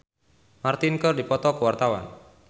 Lukman Sardi jeung Ricky Martin keur dipoto ku wartawan